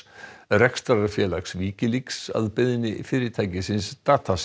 rekstrarfélags Wikileaks að beiðni fyrirtækisins